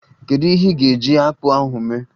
Kedu ihe ị ga-eji akpụ ahu mee?